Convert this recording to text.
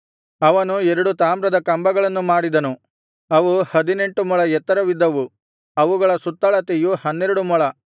ಅವನು ಎರಡು ತಾಮ್ರದ ಕಂಬಗಳನ್ನು ಮಾಡಿದನು ಅವು ಹದಿನೆಂಟು ಮೊಳ ಎತ್ತರವಿದ್ದವು ಅವುಗಳ ಸುತ್ತಳತೆಯು ಹನ್ನೆರಡು ಮೊಳ